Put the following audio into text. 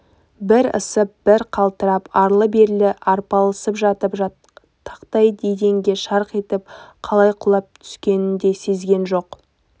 бір ысып бір қалтырап арлы-берлі арпалысып жатып тақтай еденге шарқ етіп қалай құлап түскенін де сезген жоқ